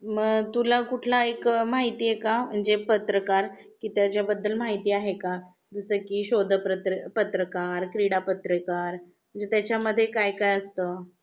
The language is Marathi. मग तुला कुठला एक माहिती आहे का म्हणजे पत्रकार? कि त्याच्या बद्दल माहिती आहे का? जसं की शोध पत्रकार, क्रीडा पत्रकार? म्हणजे त्याच्या मध्ये काय काय असत?